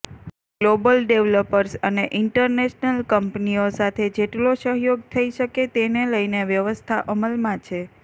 global developers અને international કંપનીઓ સાથે જેટલો સહયોગ થઈ શકે તેને લઈને વ્યવસ્થા અમલમાં છે